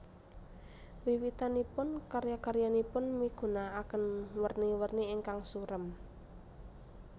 Wiwitanipun karya karyanipun migunaaken werni werni ingkang surem